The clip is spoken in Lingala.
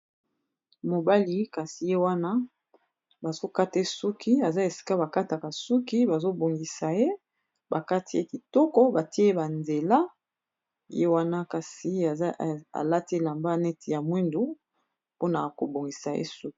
Mobali kasi ye wana bazo kate ye suki aza esika ba kataka suki bazo bongisa ye bakati ye kitoko batie ba nzela ye wana kasi alati elamba neti ya mwindu mpona kobongisa ye suki.